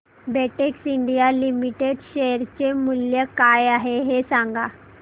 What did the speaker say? Betex India Limited share चे मूल्य काय आहे हे सांगा